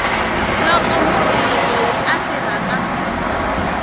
loko mutirhi loyi a tirhaka